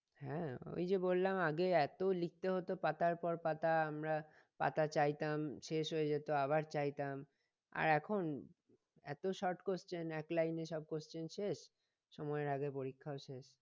হ্যাঁ ওইযে বললাম আগে এত লিখতে হত পাতার পর পাতা আমরা পাতা চাইতাম শেষ হয়ে যেত আবার চাইতাম আর এখন এত short question এক লাইনে সব question শেষ সময়ের আগে পরীক্ষাও শেষ